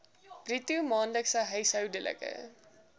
bruto maandelikse huishoudelike